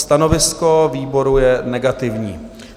Stanovisko výboru je negativní.